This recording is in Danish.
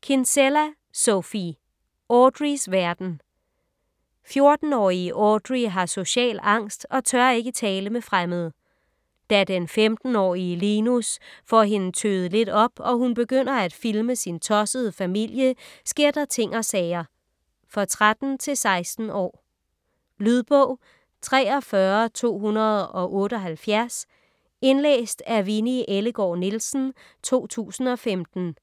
Kinsella, Sophie: Audreys verden 14-årige Audrey har social angst og tør ikke tale med fremmede. Da den 15-årige Linus får hende tøet lidt op og hun begynder at filme sin tossede familie, sker der ting og sager. For 13-16 år. Lydbog 43278 Indlæst af Winni Ellegaard Nielsen, 2015.